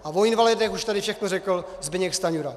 A o invalidech už tady všechno řekl Zbyněk Stanjura.